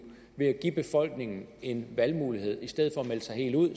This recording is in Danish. ved at give befolkningen en valgmulighed i stedet for at melde sig helt ud